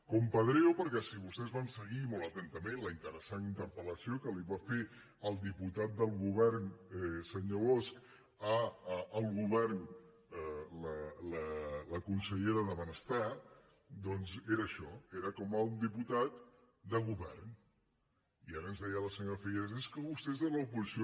compadreo perquè si vostès van seguir molt atentament la interessant interpel·lació que li va fer el diputat del govern senyor bosch al govern la consellera de benestar doncs era això era com un diputat de govern i ara ens deia la senyora figueras és que vostè és de l’oposició